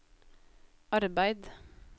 arbeid